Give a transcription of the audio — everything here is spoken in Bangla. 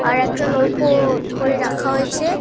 আর একটা নৌকো-ও ধরে রাখা হয়েছে।